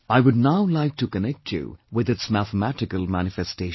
I would now like to connect you with its mathematical manifestation